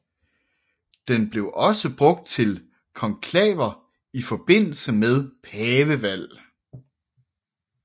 Den blev også brugt til konklaver i forbindelse med pavevalg